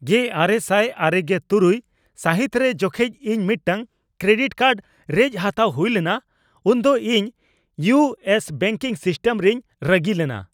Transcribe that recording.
᱑᱙᱙᱖ ᱥᱟᱹᱦᱤᱛ ᱨᱮ ᱡᱚᱠᱷᱮᱡ ᱤᱧ ᱢᱤᱫᱴᱟᱝ ᱠᱨᱮᱰᱤᱴ ᱠᱟᱨᱰ ᱨᱮᱡ ᱦᱟᱛᱟᱣ ᱦᱩᱭ ᱞᱮᱱᱟ ᱩᱱ ᱫᱚ ᱤᱧ ᱤᱭᱩ ᱮᱥ ᱵᱮᱝᱠᱤᱝ ᱥᱤᱥᱴᱮᱢ ᱨᱤᱧ ᱨᱟᱹᱜᱤ ᱞᱮᱱᱟ ᱾